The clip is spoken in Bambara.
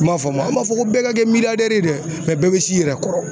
I m'a faamu an m'a fɔ ko bɛɛ ka kɛ de ye dɛ bɛɛ bi s'i yɛrɛ kɔrɔ.